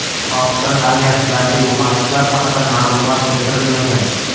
Pokiston armiyasidagi yo‘qotishlar haqida ma’lumot keltirilmagan.